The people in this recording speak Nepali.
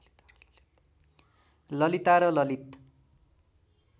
ललिता र ललित